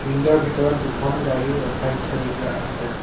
Field ৰ ভিতৰত দুখন গাড়ী ৰখাই থৈ দিয়া আছে।